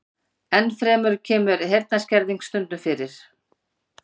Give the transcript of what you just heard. Enn fremur kemur heyrnarskerðing stundum fyrir.